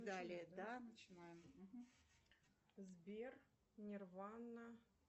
сбер нирвана